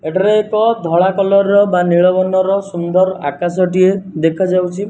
ଏଠାରେ ଏକ ଧଳା କଲର୍ ବା ନୀଳ ବର୍ଣ୍ଣର ସୁନ୍ଦର ଆକାଶଟିଏ ଦେଖାଯାଉଛି।